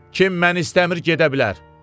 Kim məni istəmir gedə bilər.